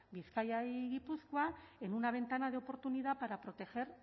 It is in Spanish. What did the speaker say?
bizkaia y gipuzkoa en una ventana de oportunidad para proteger